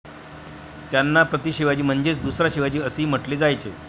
त्यांना 'प्रतिशिवाजी' म्हणजेच 'दुसरा शिवाजी असेही म्हटले जायचे.